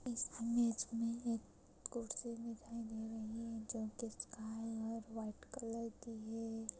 इस इमेज मे एक कुर्सी दिखाई दे रही है जो की स्काइ और व्हाइट कलर की है।